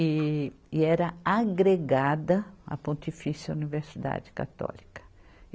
E, e era agregada à Pontifícia Universidade Católica.